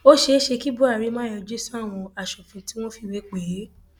ó ṣeé ṣe kí buhari má yọjú sáwọn aṣòfin tí wọn fìwé pè é